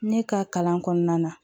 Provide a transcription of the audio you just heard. Ne ka kalan kɔnɔna na